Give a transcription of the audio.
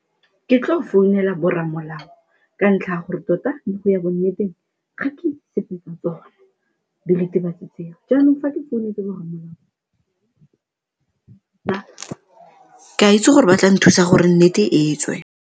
Ke tlo founela borramolao ka ntlha ya gore tota go ya bonneteng ga ke itse sepe tsa tsona diritibatsi tseo, jaanong fa ke founetse borramolao ke a itse gore ba tla nthusa gore nnete e tswe.